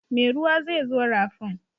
Mai ruwa zai zo rafin.